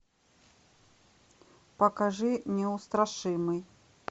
покажи неустрашимый